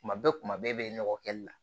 Kuma bɛɛ kuma bɛɛ nɔgɔ kɛli la